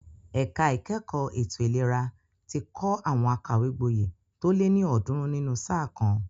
Ẹ̀ka ìkẹ́kọ̀ọ́ ètò ìlera ti kọ́ àwọn akàwégboyè tó lé ní ọ̀ọ́dúnrún nínú sáà kan.